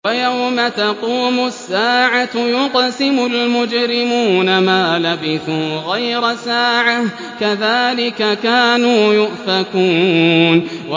وَيَوْمَ تَقُومُ السَّاعَةُ يُقْسِمُ الْمُجْرِمُونَ مَا لَبِثُوا غَيْرَ سَاعَةٍ ۚ كَذَٰلِكَ كَانُوا يُؤْفَكُونَ